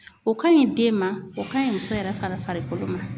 O ka ɲi den ma, o ka ɲi muso yɛrɛ fana farikolo ma